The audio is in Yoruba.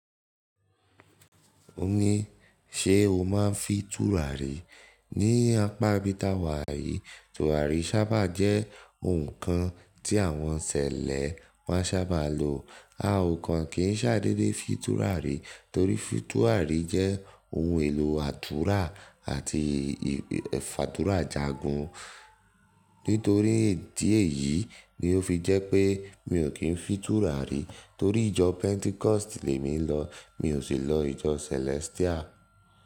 Óní ṣe o maa n fi tùràrí ní apá ibi táwà yìí? Tùràrí sábà jẹ́ ohun kan tí àwọn ṣẹ̀lẹ́ máa sábà lo. A o kan kì í ṣàdéé fi tùràrí torí fi tùràrí jẹ́ ohun èlò àdúrà àti ì fàdúrà jagun. Nítorí ti èyí ni ó fi jẹ́ pé mi ò kí ń fi tùràrí torí ìjọ Pentecost lè mi lọ mi ò sì lọ ìjọ Celestial.